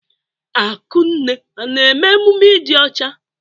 Akunne na-eme emume ịdị ọcha?